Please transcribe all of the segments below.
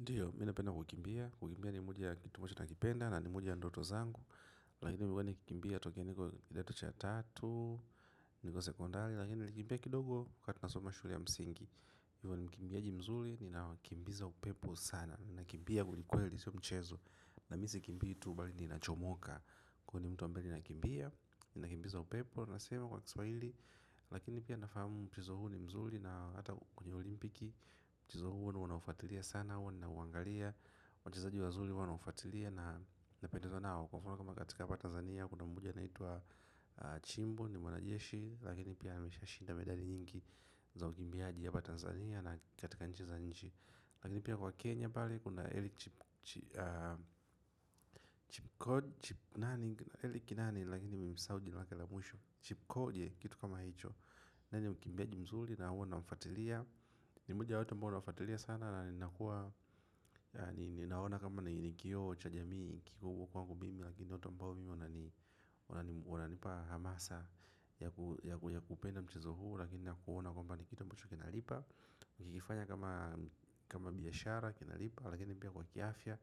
Ndiyo, mi napenda kukimbia, kukimbia ni moja ya kitu ambacho nakipenda na ni moja ndoto zangu. Lakini nimekuwa nikikimbia tokea nikiwa kidato cha tatu, nikiwa sekondari. Lakini nilikimbia kidogo wakati nasoma shule ya msingi nilikuwa ni mikimbiaji mzuri, ninawakimbiza upepo sana. Nakimbia kweli kweli, siyo mchezo na mi sikimbii tu bali nachomoka kwani ni mtu ambaye nakimbia ninakimbiza upepo inavyosemwa kwa kiswahili lakini pia nafahamu mchezo huu ni mzuri na hata kwenye olimpiki mchezo huo ndio naufuatilia sana huwa nauangalia. Wachezaji wazuri huwa nawafatilia na napendezwa nao kwa mfano kama katika hapa Tanzania kuna moja anaitwa Chimbo ni mwanajeshi. Lakini pia ameshashinda medali nyingi za ukimbiaji hapa Tanzania. Na katika nje za nchi lakini pia wakenya pale kuna Eliud chip Chip nani Eliud nani. Lakini nimemsahau jina lake la mwisho Chipkoge kitu kama hicho. Naye ni mkimbiaji mzuri na huwa namfatilia ni moja ya watu ambao nawafatilia sana na ninakuwa ninaona kama ni kio cha jamii nikikuwa huku kwangu mimi lakini watu ambao mi wananipa hamasa ya kupenda mchezo huu lakini nakuona kwamba ni kitu ambacho kinalipa nikikifanya kama kama biashara kinalipa lakini pia kwa kiafya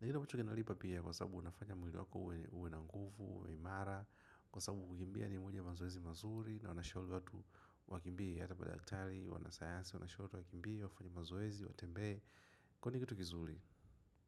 na kitu ambacho kinalipa pia kwa sababu unafanya mwili wako uwe na nguvu, imara kwa sababu kukimbia ni moja mazoezi mazuri na wanashauri watu wakimbie hata madaktari, wanasayasi wanashauri watu wakimbie, wafanye mazoezi, watembee kwani ni kitu kizuri.